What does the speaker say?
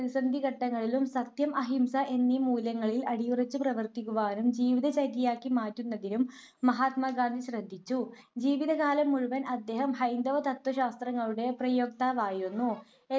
പ്രതിസന്ധിഘട്ടങ്ങളിലും സത്യം, അഹിംസ എന്നീ മൂല്യങ്ങളിൽ അടിയുറച്ചു പ്രവർത്തിക്കുവാനും ജീവിതചര്യയാക്കി മാറ്റുന്നതിനുംമഹാത്മാഗാന്ധി ശ്രദ്ധിച്ചു. ജീവിതകാലം മുഴുവൻ അദ്ദേഹം ഹൈന്ദവ തത്ത്വശാസ്ത്രങ്ങളുടെ പ്രായോക്താവായിരുന്നു.